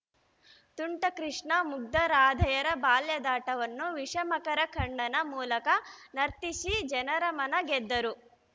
ತುಂಟ ಕೃಷ್ಣ ಮುಗ್ದರಾಧೆಯರ ಬಾಲ್ಯದಾಟವನ್ನು ವಿಷಮಕರ ಕಣ್ಣನ ಮೂಲಕ ನರ್ತಿಸಿ ಜನರ ಮನ ಗೆದ್ದರು